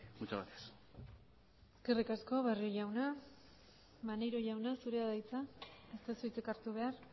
muchas gracias eskerrik asko barrio jauna maneiro jauna zurea da hitza ez duzu hitzik hartu behar